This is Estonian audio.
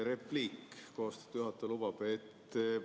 Repliik, kui austatud juhataja lubab.